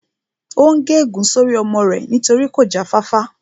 Ó n gé ègún sórí ọmọ rẹ̀ torí kò já fáfá